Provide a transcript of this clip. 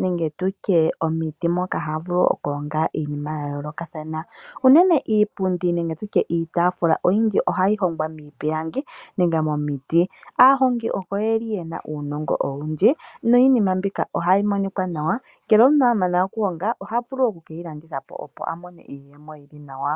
nenge tutye omiti moka haya vulu oku longa iinima ya yoolokathana. Unene iipundi nenge tutye iitaafula oyindji ohayi hongwa miipilangi nenge momiti. Aahongi oko ye li yena uunongo owundji no iinima mbika ohayi monika nawa, ngele omuntu amana oku honga oha vulu oku keyi landithapo opo avule oku mona iiyemo yi li nawa.